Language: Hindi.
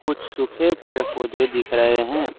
सूखे पेड़ पौधे दिख रहे हैं।